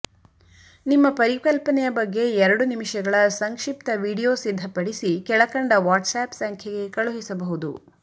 ನಿಮ್ಮ ಪರಿಕಲ್ಪನೆಯ ಬಗ್ಗೆ ಎರಡು ನಿಮಿಷಗಳ ಸಂಕ್ಷಿಪ್ತ ವಿಡಿಯೊ ಸಿದ್ಧಪಡಿಸಿ ಕೆಳಕಂಡ ವಾಟ್ಸ್ ಆ್ಯಪ್ ಸಂಖ್ಯೆಗೆ ಕಳುಹಿಸಬಹುದು